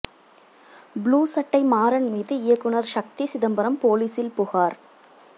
blue சட்டை மாறன் மீது இயக்குநர் ஷக்தி சிதம்பரம் போலீசில் புகார்